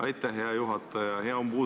Aitäh, hea juhataja!